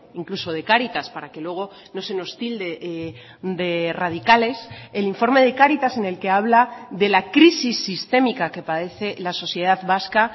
incluso de cáritas para que luego no se nos tilde de radicales el informe de cáritas en el que habla de la crisis sistémica que padece la sociedad vasca